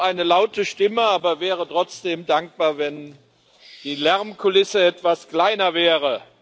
Ich habe eine laute Stimme, wäre aber trotzdem dankbar, wenn die Lärmkulisse etwas kleiner wäre.